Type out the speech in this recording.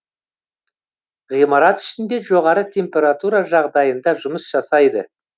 ғимарат ішінде жоғары температура жағдайында жұмыс жасайды